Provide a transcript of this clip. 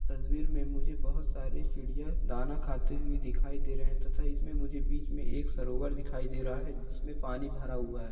तस्वीर में मुझे बोहत सारी चिड़िया दाना खाती हुई दिखाई दे रहे है तथा इसमें मुझे बीच मे एक सरोवर दिखाई दे रहा है जिसमे पानी भरा हुआ है।